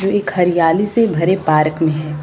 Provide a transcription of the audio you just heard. एक हरियाली सी भरे पार्क में है।